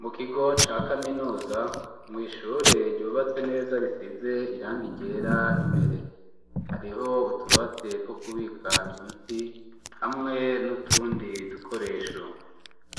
Mu kigo ca kaminuza, mw'ishure ryubatse neza risize irangi ryera imbere. Hariho utubati two kubika imiti hamwe n'utundi dukoresho.